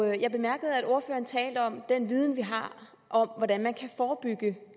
jeg bemærkede at ordføreren talte om den viden vi har om hvordan vi kan forebygge